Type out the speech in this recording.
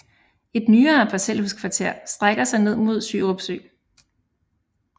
Et nyere parcelhuskvarter strækker sig ned mod Sjørup Sø